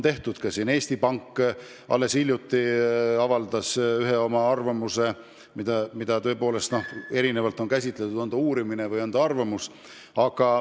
Ka Eesti Pank avaldas alles hiljuti oma arvamuse, mida on erinevalt käsitletud: on see siis uurimus või arvamus.